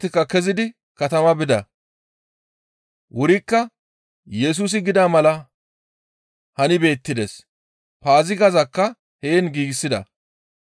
Iza kaallizaytikka kezidi katama bida. Wurikka Yesusi gida mala hani beettides; Paazigakka heen giigsida.